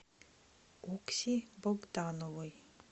окси богдановой